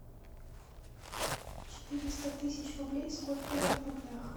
четыреста тысяч рублей сколько это в рублях